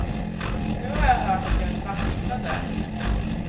Nu har jag hört att jag är svartlistad där.